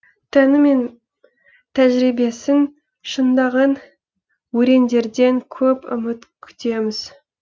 тәні мен тәжірибесін шыңдаған өрендерден көп үміт күтеміз